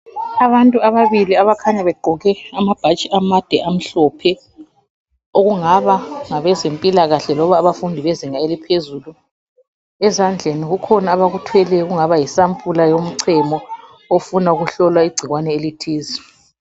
Abantu ababili abakhanya begqoke amabhatshi amade amhlophe ,okungaba ngabezempilakahle loba abafundi bezinga eliphezulu. Ezandleni kukhona abakuthweleyo okungaba yisampula yomchemo ofuna ukuhlolwa igcikwane elithize.